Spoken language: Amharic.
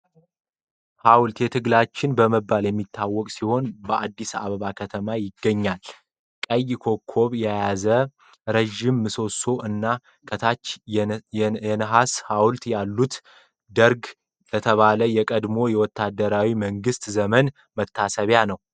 ሐውልት የትግላችን በመባል የሚታወቅ ሲሆን፣ በአዲስ አበባ ከተማ ይገኛል። ቀይ ኮከብ የያዘ ረዥም ምሰሶ እና ከታች የነሐስ ሐውልቶች አሉት። ደርግ ለተባለው የቀድሞው ወታደራዊ መንግስት ዘመን መታሰቢያ ነው።